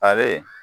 Ali